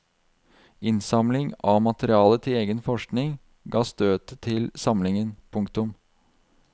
Innsamling av materiale til egen forskning ga støtet til samlingen. punktum